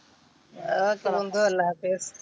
Okay বন্ধু আল্লা হাফিজ।